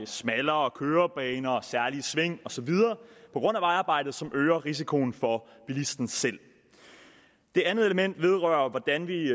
smallere kørebaner særlige sving og så videre på grund af vejarbejdet som øger risikoen for bilisten selv det andet element vedrører hvordan vi